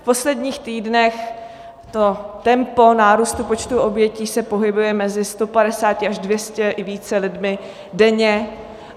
V posledních týdnech to tempo nárůstu počtu obětí se pohybuje mezi 150 až 200 i více lidmi denně.